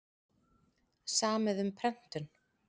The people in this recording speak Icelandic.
Samið um prentun